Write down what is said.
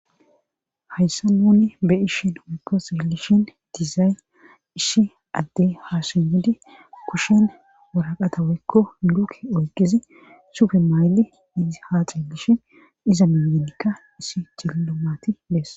Hayssa nuuni be ishin waykko silishin dizaay ishi addey hasunudi kushen woraqata weykko luke oyqizi sufe mayli iz haa xilishin iza miyenikka isi cillomati bees.